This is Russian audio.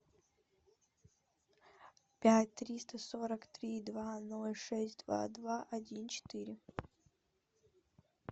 пять триста сорок три два ноль шесть два два один четыре